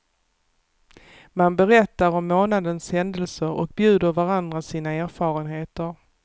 Man berättar om månadens händelser och bjuder varandra sina erfarenheter.